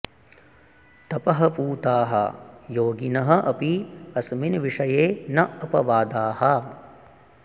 तपः पूताः योगिनः अपि अस्मिन् विषये न अपवादाः